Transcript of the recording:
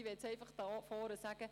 Ich möchte hier vorne festhalten: